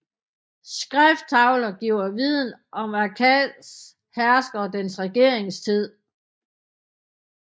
Skrifttavler giver viden om Akkads herskere og deres regeringstid